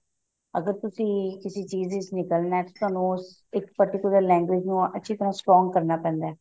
ਅਗਰ ਤੁਸੀਂ ਕਿਸੀ ਚੀਜ਼ ਵਿੱਚ ਨਿਕਲਣਾ ਤਾਂ ਤੁਹਾਨੂੰ ਉਸ ਇੱਕ particular language ਨੂੰ strong ਕਰਨਾ ਪੈਂਦਾ